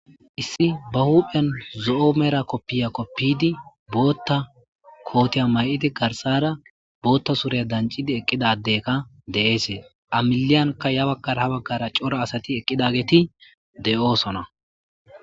issi ba huphen zo'o mera koppiya koppidi bootta kootiya may'idi garsara bootta surya dancidi eqqidadekka de'eesee amiliyanka ya baggara ha baggara coro asati eqqidageeti de'oosona